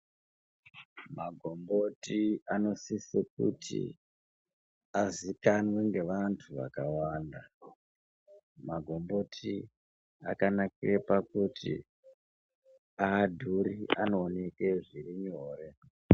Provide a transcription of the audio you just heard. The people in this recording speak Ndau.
Magomboti anosise kuti azikanwe ngevantu vakawanda Magomboti akanakire pakuti hadhuri anooneke zviri nyore.